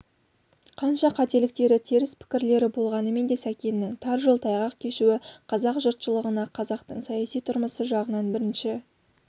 қанша қателіктері теріс пікірлері болғанмен де сәкеннің тар жол тайғақ кешуі қазақ жұртшылығына қазақтың саяси тұрмысы жағынан бірінші